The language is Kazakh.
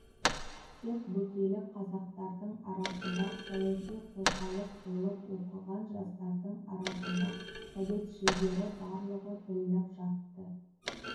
тек бөкейлік қазақтардың арасында саяси қозғалыс болып оқыған жастардың арасында советшілдері барлығы білініп жатты